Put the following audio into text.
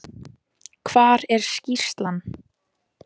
Hvar er skýrslan?